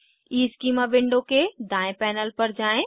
schema window के दायें panel पर जाएँ